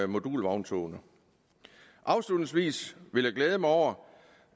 modulvogntogene afslutningsvis vil jeg glæde mig over